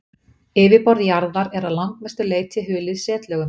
Yfirborð jarðar er að langmestu leyti hulið setlögum.